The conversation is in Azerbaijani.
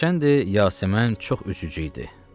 Hərçənd Yasəmən çox üzücü idi.